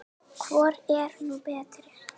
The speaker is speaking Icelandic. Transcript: Hvor er nú betri?